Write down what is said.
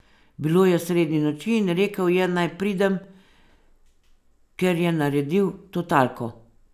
Bilo je sredi noči in rekel je, naj pridem, ker je naredil totalko.